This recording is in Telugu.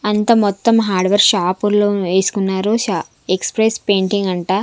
అంతా మొత్తం హార్డ్వేర్ షాపు లు వేసుకున్నారు షా-- ఎక్స్ప్రెస్ పెయింటింగ్ అంట.